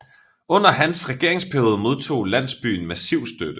Under hans regeringsperiode modtog landsbyen massiv støtte